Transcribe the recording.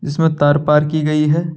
जिसमे तार पार की गई है।